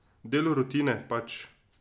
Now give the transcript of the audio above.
Del rutine, pač.